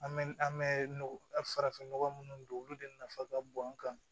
An bɛ an bɛ nɔgɔ farafin nɔgɔ minnu don olu de nafa ka bon an kan